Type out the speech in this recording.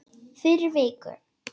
Fyrir viku.